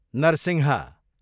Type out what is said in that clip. Narasimha